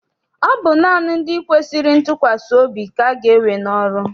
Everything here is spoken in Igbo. Ọ bụ naanị ndị kwesịrị ntụkwasị obi ka aga ewe n'ọrụ.